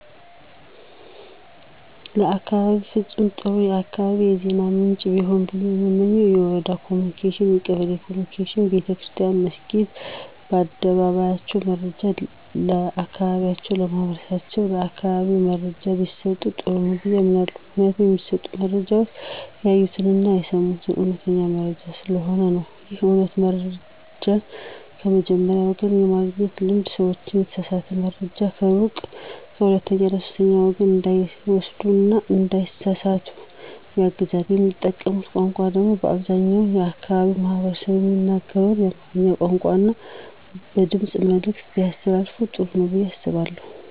ለአካባቢየ ፍጹም ጥሩ የአካባቢ የዜና ምንጭ ቢሆን ብየ የምመኘው የወረዳ ኮምኒኬሽን፣ የቀበሌ ኮምኒኬሽን፣ ቤተክርስትያን መስኪድ ከአደባባያቸው መረጃ ለአካባቢያቸው ማህበረሰብ የአካባቢውን መረጃ ቢሰጡ ጥሩ ነው ብየ አምናለሁ። ምክንያቱም የሚሰጡት መረጃ ያዩትን አና የሰሙትን አዉነተኛ መረጃ ስለሆነ ነው። ይህ አይነቱ መረጃን ከመጀመሪያዉ ወገን የማግኘት ልምድ ሰዎችን የተሳሳተ መረጃ ከሩቅ ከሁለተኛ እና ከሶስተኛ ወገን እንዳይወስዱ እና እንዳይሳሰሳቱ ያግዛቸዋል። የሚጠቀሙት ቋንቋ ደግሞ አብዛኛው የአካባቢው ማህበረሰብ የሚናገረውን የአማርኛ ቋንቋን እና በድምጽ መልዕክት ቢያስተላልፋ ጥሩ ነው ብየ አስባለሁ።